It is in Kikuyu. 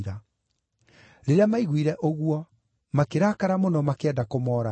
Rĩrĩa maiguire ũguo makĩrakara mũno makĩenda kũmooraga.